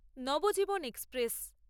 Nabajiban express